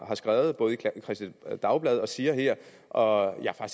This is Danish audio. har skrevet i kristeligt dagblad og siger her og jeg er